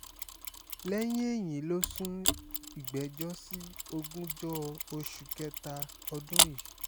lẹ́yìn èyí ló sún ìgbẹ́jọ́ sí ogúnjọ́ oṣù kẹta ọdún yìí